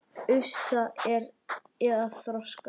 Ufsa eða þorska?